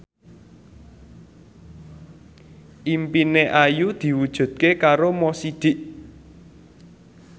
impine Ayu diwujudke karo Mo Sidik